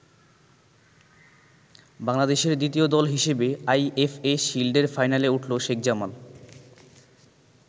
বাংলাদেশের দ্বিতীয় দল হিসেবে আইএফএ শিল্ডের ফাইনালে উঠলো শেখ জামাল।